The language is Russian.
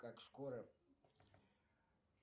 как скоро